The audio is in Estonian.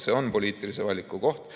See on poliitilise valiku koht.